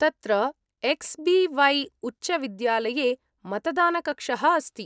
तत्र X B वै उच्चविद्यालये मतदानकक्षः अस्ति।